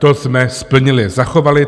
- To jsme splnili, zachovali.